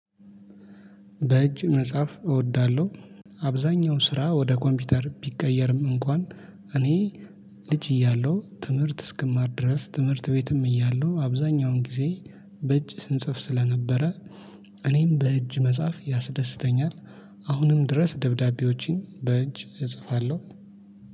በእጅ መጽሐፍ እወዳለሁ። አብዛኛው ስራ ወደ ኮምፒውተር ቢቀየርም እንኳን እኔ ልጅ እያለሁ ትምህርት እስክማር ድረስ ትምህርት ቤትም እያለሁ አብዛኛውን ጊዜ በእጅ ስንጽፍ ስለነበረ እኔም በእጅ መጽሐፍ ያስደስተኛል። አሁንም ድረስ ደብዳቤዎችን በእጅ እጽፋለሁ።